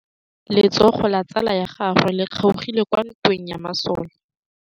Letsôgô la tsala ya gagwe le kgaogile kwa ntweng ya masole.